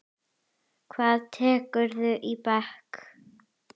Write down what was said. Hvað tekurðu í bekk?